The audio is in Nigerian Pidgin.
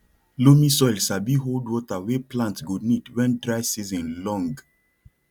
loamy soil sabi hold water wey plant go need when dry season long